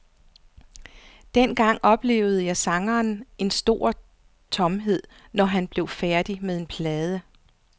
Dengang oplevede sangeren en stor tomhed, når han blev færdig med en plade.